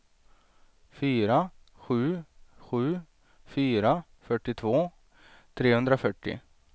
fyra sju sju fyra fyrtiotvå trehundrafyrtio